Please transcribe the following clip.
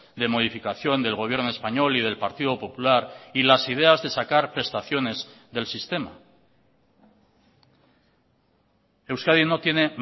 de modificación del gobierno español y del partido popular y las ideas de sacar prestaciones del sistema euskadi no tiene